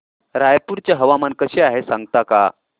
रायपूर चे हवामान कसे आहे सांगता का